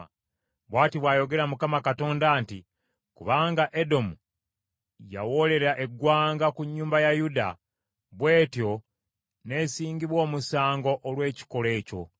“Bw’ati bw’ayogera Mukama Katonda nti, ‘Kubanga Edomu yawoolera eggwanga ku nnyumba ya Yuda, bw’etyo n’esingibwa omusango olw’ekikolwa ekyo,